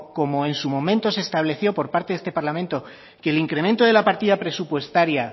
como en su momento se estableció por parte de este parlamento que el incremento de la partida presupuestaria